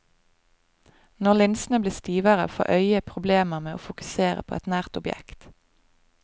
Når linsene blir stivere, får øyet problemer med å fokusere på et nært objekt.